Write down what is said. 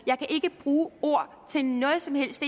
jeg kan ikke bruge ord til noget som helst